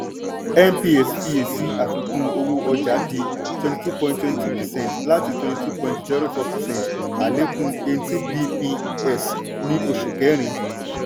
cs] mps fiyèsí àfikún-owó-ọjà di twenty two point twenty two percent láti twenty two point zero four percent àlékún eighteen bps ní osù kẹrin.